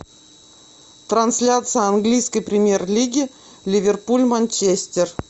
трансляция английской премьер лиги ливерпуль манчестер